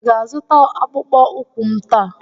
Ị ga-azụta akpụkpọ ụkwụ m taa?